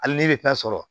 Hali ne bɛ taa sɔrɔ